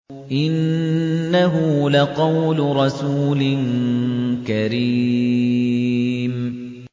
إِنَّهُ لَقَوْلُ رَسُولٍ كَرِيمٍ